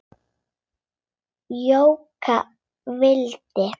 Jóka vildi.